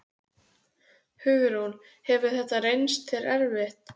Hugrún: Hefur þetta reynst þér erfitt?